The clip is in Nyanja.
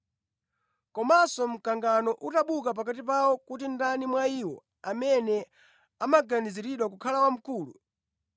Komanso mkangano unabuka pakati pawo kuti ndani mwa iwo amene amaganiziridwa kukhala wamkulu.